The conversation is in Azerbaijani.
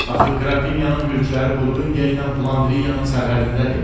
Axı Qrafinyanın mülkləri Burqundiya ilə Flandriyanın sərhədindədir.